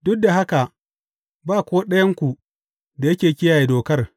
Duk da haka ba ko ɗayanku da yake kiyaye Dokar.